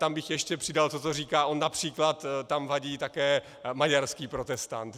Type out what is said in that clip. Tam bych ještě přidal to, co říká on: například tam vadí také maďarský protestant.